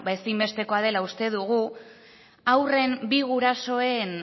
ezin bestekoa dela uste dugu haurren bi gurasoen